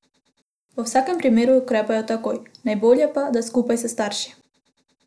V vsakem primeru ukrepajo takoj, najbolje pa, da skupaj s starši.